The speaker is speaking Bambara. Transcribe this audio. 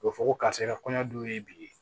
O bɛ fɔ ko karisa ka kɔɲɔ dun ye bi ye